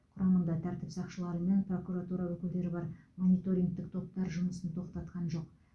құрамында тәртіп сақшылары мен прокуратура өкілдері бар мониторингтік топтар жұмысын тоқтатқан жоқ